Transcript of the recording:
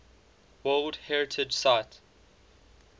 world heritage site